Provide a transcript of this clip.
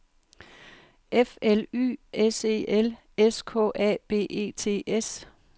F L Y S E L S K A B E T S